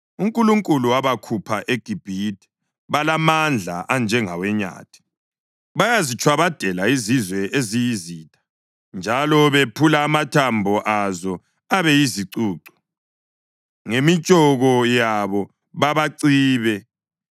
UNkulunkulu wabakhupha eGibhithe; balamandla anjengawenyathi. Bayazitshwabadela izizwe eziyizitha njalo bephule amathambo azo abe yizicucu; ngemitshoko yabo babacibe.